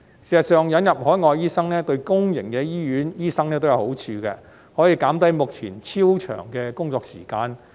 事實上，引入海外醫生對公營醫院醫生也有好處，可以減低目前超長的工作時間。